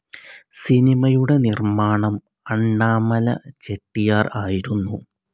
സിനിമയുടെ നിർമ്മാണം അണ്ണാമല ചെട്ടിയാർ ആയിരുന്നു.